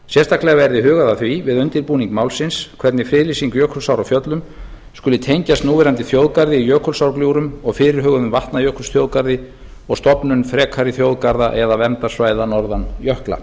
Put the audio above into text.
sérstaklega verði hugað að því við undirbúning málsins hvernig friðlýsing jökulsár á fjöllum skuli tengjast núverandi þjóðgarði í jökulsárgljúfrum og fyrirhuguðum vatnajökulsþjóðgarði og stofnun frekari þjóðgarða eða verndarsvæða norðan jökla